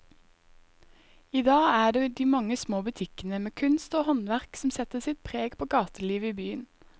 I dag er det de mange små butikkene med kunst og håndverk som setter sitt preg på gatelivet i byen.